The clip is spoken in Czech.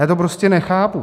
Já to prostě nechápu.